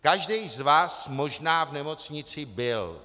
Každý z vás možná v nemocnici byl.